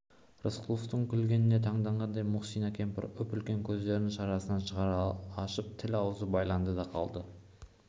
рысқұловтың күлгеніне таңданғандай мұхсина кемпір үп-үлкен көздерін шарасынан шығара ашып тіл-аузы байланды да қалды